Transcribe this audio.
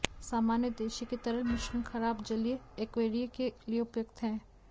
सामान्य उद्देश्य के तरल मिश्रण खराब जलीय एक्वैरिया के लिए उपयुक्त हैं